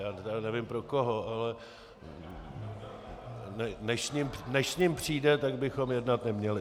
Já nevím pro koho, ale než s ním přijde, tak bychom jednat neměli.